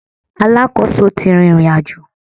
Alákòóso ti rìnrìnàjò